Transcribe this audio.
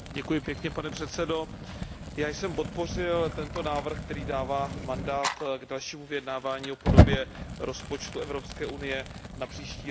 Pane předsedající, já jsem podpořil tento návrh, který dává mandát k dalšímu vyjednávání o podobě rozpočtu Evropské unie na příští rok.